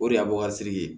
O de y'a bɔ ka siriki ye